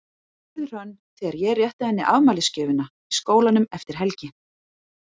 spurði Hrönn þegar ég rétti henni afmælisgjöfina í skólanum eftir helgi.